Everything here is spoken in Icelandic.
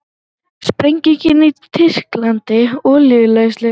Sprenging í tyrkneskri olíuleiðslu